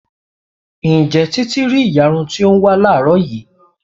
Ǹjẹ́ títí rí ìyarun to ń wá láàrọ́ yìí?